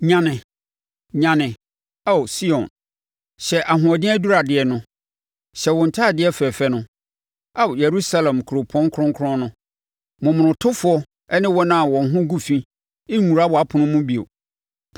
Nyane, nyane, Ao Sion, hyɛ ahoɔden aduradeɛ no. Hyɛ wo ntadeɛ fɛfɛ no Ao, Yerusalem kuropɔn kronkron no. Momonotofoɔ ne wɔn a wɔn ho agu fi renwura wʼapono mu bio.